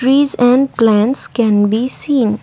trees and clans can be seen.